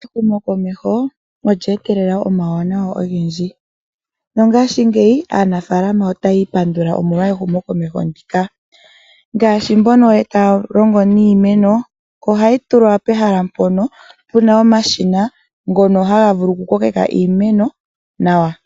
Ehumokomeho olye etelela omauwanawa ogendji. Ngashingeyi aanafaalama otaya ipandula, omolwa ehumokomeho ndika. Mboka ye na iikunino yiimeno, ohaya longitha omashina ngoka haga vulu okukokeka iimeno.